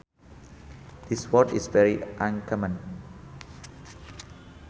This word is very uncommon